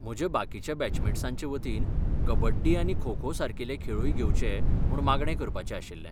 म्हज्या बाकीच्या बॅचमेट्सांचे वतीन, कबड्डी आनी खो खो सारकिले खेळूय घेवचे म्हूण मागणें करपाचें आशिल्लें.